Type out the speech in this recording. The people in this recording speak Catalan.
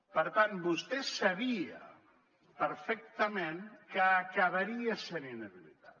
per tant vostè sabia perfectament que acabaria sent inhabilitat